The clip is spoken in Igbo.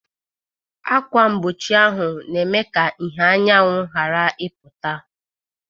Akwa mgbochi ahụ na-eme ka ìhè anyanwụ ghara ịpụta.